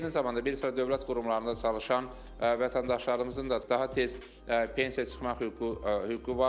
Eyni zamanda bir sıra dövlət qurumlarında çalışan vətəndaşlarımızın da daha tez pensiya çıxmaq hüququ hüququ vardır.